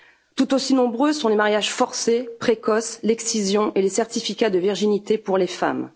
Tout aussi nombreux sont les mariages forcés ou précoces, l'excision et les certificats de virginité pour les femmes.